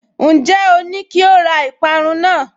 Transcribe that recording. Ǹjẹ́ o ní kí ó ra ìparun náà?